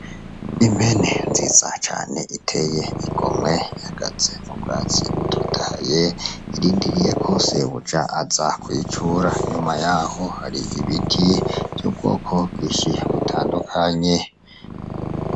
Impene nziza cane kandi iteye igomwe ihagaze mubwatsi butotahaye, irindiyeko sebuja aza kuyicura , inyuma yaho hari ibiti vyubwoko bwinshi butandukanye.